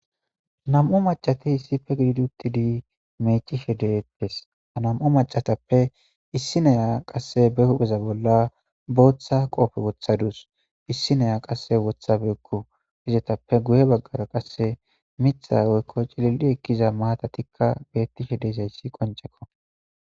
Nam'u mac'c'ati issipe gididi utidi mic'ishe de'etes ha nam'u mac'atape issi na'iya qase be hupheza bolan bota qophe wotadus issi na'iya qase wothabeyku ezepe guye bagara qase mithay woyko cilili ekiza matatika betishe dizays qonc'eko.